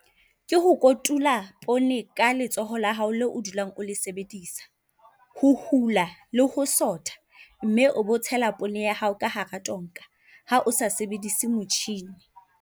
Ke ho kotula poone ka letsoho la hao leo o dulang le sebedisa. Ho hula le ho sotha, mme o be o tshela poone ya hao ka hara tonka. Ha o sa sebedise motjhini.